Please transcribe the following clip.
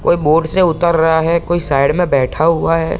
कोई बोट से उतर रहा है कोई साइड में बैठा हुआ है।